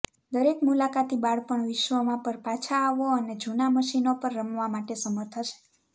દરેક મુલાકાતી બાળપણ વિશ્વમાં પર પાછા આવો અને જૂના મશીનો પર રમવા માટે સમર્થ હશે